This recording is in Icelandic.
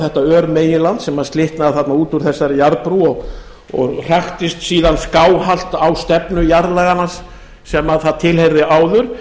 þetta örmeginland sem slitnaði þarna út úr þessari jarðbrú og hraktist síðan skáhallt á stefnu jarðlaganna sem það tilheyrði áður